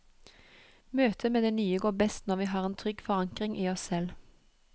Møtet med det nye går best når vi har en trygg forankring i oss selv.